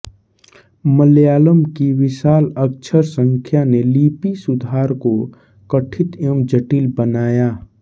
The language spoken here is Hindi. मलयालम की विशाल अक्षर संख्या ने लिपि सुधार को कठित एवं जटिल बनाया